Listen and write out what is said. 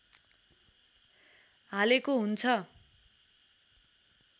हालेको हुन्छ